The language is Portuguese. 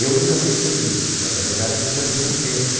Eu nunca pensei nisso, mas a verdade é que todo mundo pensa.